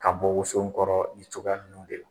Ka bɔ woso kɔrɔ ni cogoya ninnu de la.